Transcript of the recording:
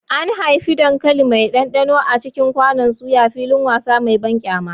An haifi dankali mai ɗanɗano a cikin kwanon soya, filin wasa mai banƙyama.